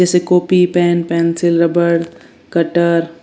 जैसे copy pen pencil रबड़ cutter --